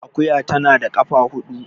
Akuya tana da kafa hudu